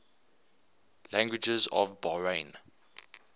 languages of bahrain